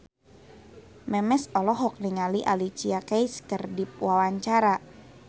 Memes olohok ningali Alicia Keys keur diwawancara